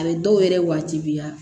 A bɛ dɔw yɛrɛ waajibiya